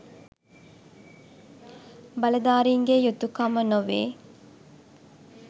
බලධාරීන්ගේ යුතුකම නොවේ.